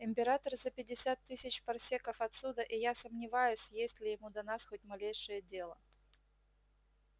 император за пятьдесят тысяч парсеков отсюда и я сомневаюсь есть ли ему до нас хоть малейшее дело